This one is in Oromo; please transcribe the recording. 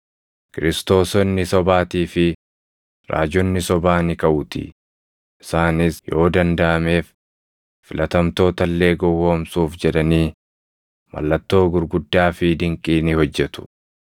Kiristoosonni sobaatii fi raajonni sobaa ni kaʼuutii; isaanis yoo dandaʼameef filatamtoota illee gowwoomsuuf jedhanii mallattoo gurguddaa fi dinqii ni hojjetu.